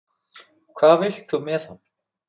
Hvað vilt þú með hann?